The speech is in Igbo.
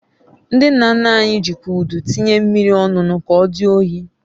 Ndị nna nna anyị jikwa Udu tinye mmiri ọñụnụ ka odi oyi